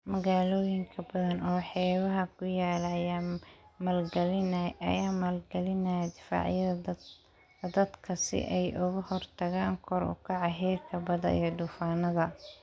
Magaalooyin badan oo xeebaha ku yaala ayaa maalgalinaya difaacyada daadadka si ay uga hortagaan kor u kaca heerka badda iyo duufaanada